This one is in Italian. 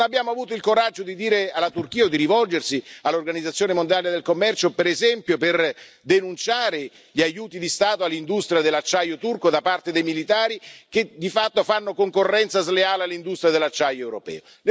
Non abbiamo avuto il coraggio di dire alla Turchia o di rivolgersi all'Organizzazione mondiale del commercio, per esempio, per denunciare gli aiuti di Stato all'industria dell'acciaio turco da parte dei militari, che di fatto fanno concorrenza sleale all'industria dell'acciaio europeo.